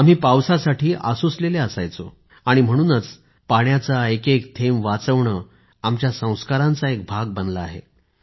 आम्ही पावसासाठी आसुसलेले असायचो आणि म्हणूनच पाण्याचा एक एक थेंब वाचवणे आमच्या संस्कारांचा एक भाग बनला आहे